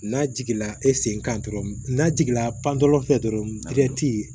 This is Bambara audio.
N'a jiginna e sen kan dɔrɔn n'a jiginna pantolan fɛ dɔrɔn